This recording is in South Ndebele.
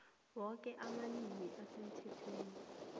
woke amalimi asemthethweni